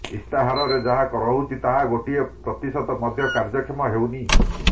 ଇସ୍ତାହାରରେ ଯାହା ରହୁଛି ତାହାର ଗୋଟିଏ ପ୍ରତିଶତ ମଧ୍ୟ କାର୍ଯ୍ୟକ୍ଷମ ହେଉନି